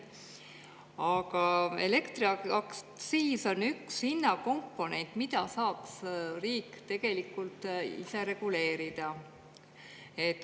Aga elektriaktsiis on üks hinnakomponent, mida saaks riik tegelikult ise reguleerida.